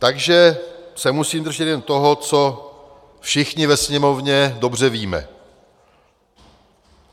Takže se musím držet jen toho, co všichni ve Sněmovně dobře víme.